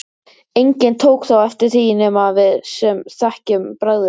Enginn tók þó eftir því nema við sem þekkjum bragðið.